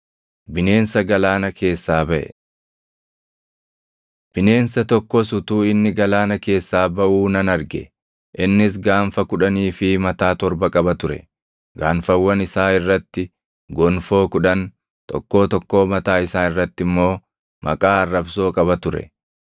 Bineensi jawwee fakkaatu sunis cirracha galaanaa irra dhaabate. Bineensa Galaana Keessaa Baʼe Bineensa tokkos utuu inni galaana keessaa baʼuu nan arge. Innis gaanfa kudhanii fi mataa torba qaba ture; gaanfawwan isaa irratti gonfoo kudhan, tokkoo tokkoo mataa isaa irratti immoo maqaa arrabsoo qaba ture.